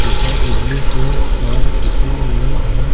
ऊपर बिजली के तार खींचे हुए हैं।